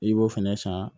I b'o fɛnɛ san